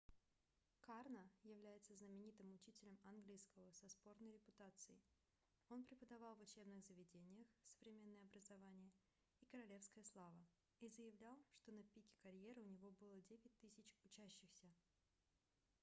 карно является знаменитым учителем английского со спорной репутацией он преподавал в учебных заведениях современное образование и королевская слава и заявлял что на пике карьеры у него было 9000 учащихся